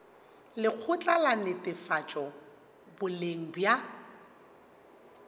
lekgotla la netefatšo boleng bja